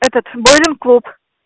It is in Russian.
этот боулинг-клуб